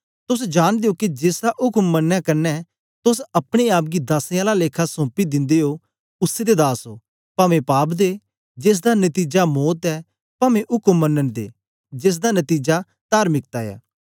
तोस जांनदे ओ के जेसदा उक्म मनने कन्ने तोस अपने आप गी दासें आला लेखा सौपी दिन्दे ओ उसै दे दास ओ पवें पाप दे जेसदा नतीजा मौत ऐ पवें उक्म मनन दे जेसदा नतीजा तार्मिकता ऐ